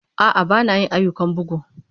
A'a, ba na yin ayyukan bugu.